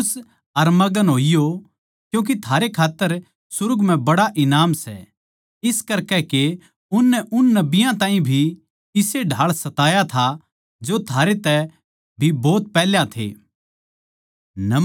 फेर खुश अर मग्न होइयो क्यूँके थारै खात्तर सुर्ग म्ह बड्ड़ा ईनाम सै इस करकै के उननै उन नबियाँ ताहीं भी इस्से ढाळ सताया था जो थारै तै भी भोत पैहल्या थे